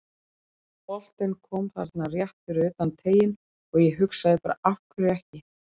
Boltinn kom þarna rétt fyrir utan teiginn og ég hugsaði bara af hverju ekki?